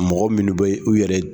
Mɔgɔ minnu be u yɛrɛ